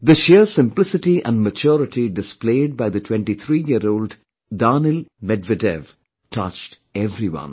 The sheer simplicity and maturity displayed by the 23 year old Daniil Medvedev touched everyone